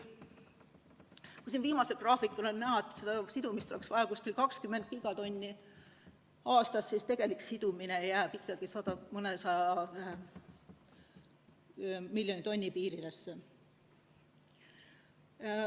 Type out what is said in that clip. Viimasel graafikul on näha, et oleks vaja siduda umbes 20 gigatonni aastas, aga tegelik sidumine jääb ikkagi mõnesaja miljoni tonni piiridesse.